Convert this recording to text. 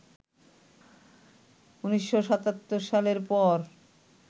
১৯৭৭ সালের পর